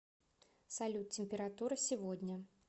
салют температура сегодня